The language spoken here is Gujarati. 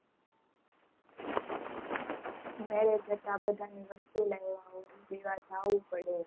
marriage હતા બઘા ની વસ્તુ લાવીયા અને લેવા જવું પડે